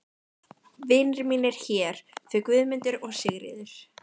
Vinir mínir hér, þau Guðmundur og Sigríður.